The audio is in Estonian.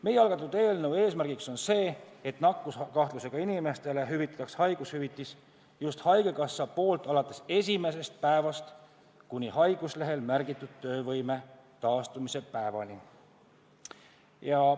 Meie algatatud eelnõu eesmärk on see, et nakkuskahtlusega inimestele hüvitaks haigushüvitist just haigekassa, alates esimesest päevast kuni haiguslehel märgitud töövõime taastumise päevani.